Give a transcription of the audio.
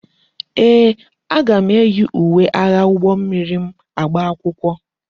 Ee, aga m eyi uwe agha ụgbọ mmiri m agba akwụkwọ.